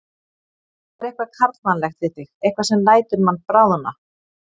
Það er eitthvað karlmannlegt við þig, eitthvað sem lætur mann bráðna.